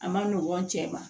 A ma nɔgɔn n cɛ ma